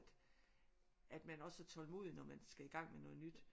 At man også er tålmodig når man skal i gang med noget nyt